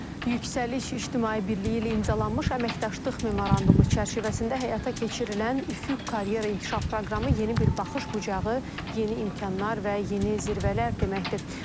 Yüksəliş İctimai Birliyi ilə imzalanmış əməkdaşlıq memorandumu çərçivəsində həyata keçirilən Üfüq karyera inkişaf proqramı yeni bir baxış bucağı, yeni imkanlar və yeni zirvələr deməkdir.